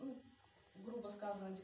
ну грубо сказать